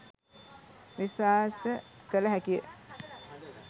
විශ්වාස කළ හැකිය.